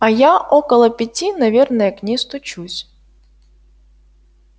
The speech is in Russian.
а я около пяти наверное к ней стучусь